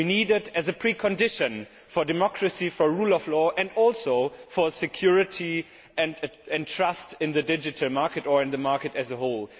We need them as a precondition for democracy, for the rule of law, and also for security and trust in the digital market, or in the market as a whole.